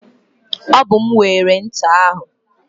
Ọ bụ m weere ncha ahụ.